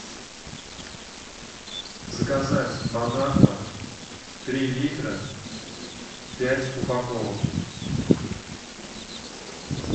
заказать бон аква три литра пять упаковок